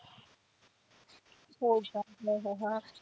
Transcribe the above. होय का हो हो हा.